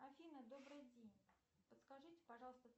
афина добрый день подскажите пожалуйста